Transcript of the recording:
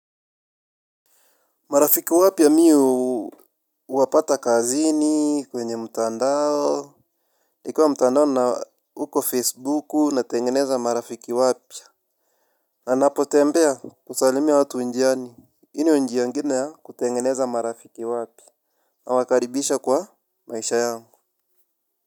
Marafiki wapya mi huwapata kazini, kwenye mtandao, ikiwa mtandao na huko Facebooku natengeneza marafiki wapya. Na napotembea husalimia watu njiani. Hii ndio njia ingine ya kutengeneza marafiki wapya. Nawakaribisha kwa maisha yangu.